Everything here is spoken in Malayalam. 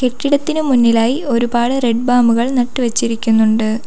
കെട്ടിടത്തിന് മുന്നിലായി ഒരുപാട് റെഡ് ബാമുകൾ നട്ടു വെച്ചിരിക്കുന്നുണ്ട്.